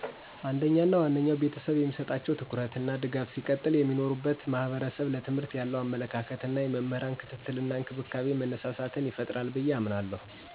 አንደኛ እና ዋነኛው ቤተሰብ የሚሰጣቸው ትኩረት እና ድጋፍ ሲቀጥል የሚኖሩበት ማህበረሰብ ለትምህርት ያለዉ አመለካከት እና የመምህራን ክትትል እና እንክብካቤ መነሳሳትን ይፈጥራል ብየ አምናለሁ።